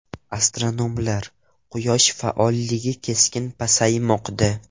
Astronomlar: Quyosh faolligi keskin pasaymoqda.